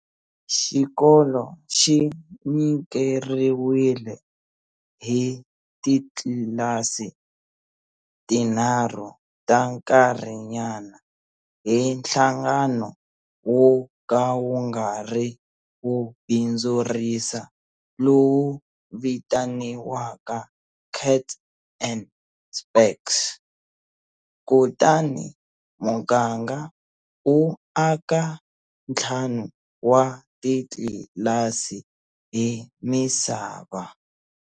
Xikolo xi nyikeriwile hi titlasi tinharhu ta nkarhinyana hi nhlangano wo ka wu nga ri wo bindzurisa lowu vitaniwaka Kats and Spaks, kutani muganga wu aka ntlhanu wa titlilasi hi misava.